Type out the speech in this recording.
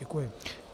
Děkuji.